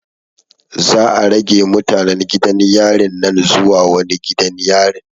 Za'a rage mutanen gidan yarin nan zuwa wani gidan yarin.